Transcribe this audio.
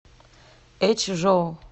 эчжоу